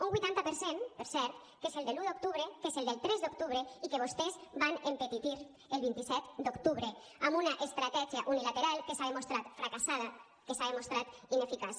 un vuitanta per cent per cert que és el de l’un d’octubre que és el del tres d’octubre i que vostès van empetitir el vint set d’octubre amb una estratègia unilateral que s’ha demostrat fracassada que s’ha demostrat ineficaç